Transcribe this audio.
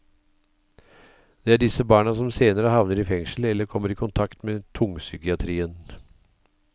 Det er disse barna som senere havner i fengsel eller kommer i kontakt med tungpsykiatrien.